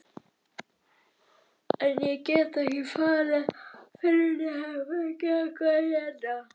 En ég get ekki farið fyrr en ég hef fengið eitthvað að éta.